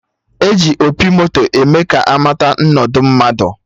E ji opi moto eme ka amata nnọdụ mmadụ